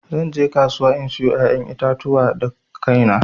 Zan je kasuwa in sayo ƴaƴan itatuwa da kaina.